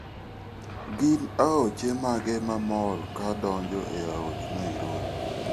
Gin aoche mage mamol ka donjo e aoch Nairobi?